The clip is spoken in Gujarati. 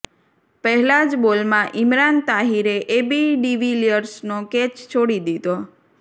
પહેલા જ બોલમાં ઈમરાન તાહિરે એબી ડિવિલિયર્સનો કેચ છોડી દીધો